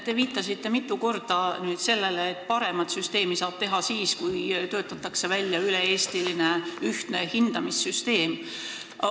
Te viitasite mitu korda sellele, et paremat süsteemi saab teha siis, kui on töötatud välja ühtne üle-eestiline hindamissüsteem.